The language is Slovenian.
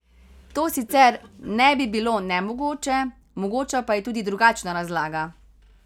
To sicer ne bi bilo nemogoče, mogoča pa je tudi drugačna razlaga.